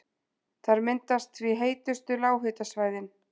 Þar myndast því heitustu lághitasvæðin.